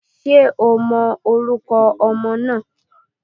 Ṣé o mọ orúkọ ọmọ náà?